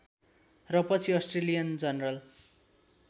र पछि Australian general